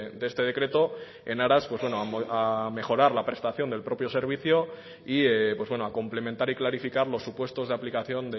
de este decreto en aras a mejorar la prestación del propio servicio y a complementar y clarificar los supuestos de aplicación